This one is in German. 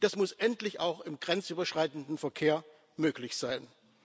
Das muss endlich auch im grenzüberschreitenden Verkehr möglich sein.